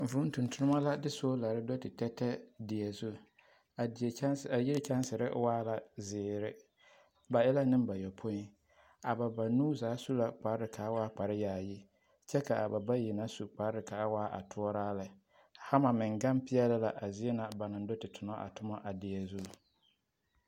Vūū tontonema la de solare do te tɛtɛ a die zu, a die kyanse, a yiri kyansere waa la zeere ba e nembayɔpoi, a ba banuu zaa su la kpare k'a waa kpare yaayi kyɛ k'a ba bayi na su kpare k'a waa a toɔraa lɛ, hama meŋ gaŋ peɛle la a zie na ba naŋ do te tonɔ a tomɔ a die zu.